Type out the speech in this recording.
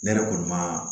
Ne yɛrɛ kɔni ma